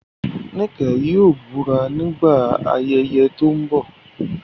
Nike yóò búra nígbà ayẹyẹ tó ń bọ̀.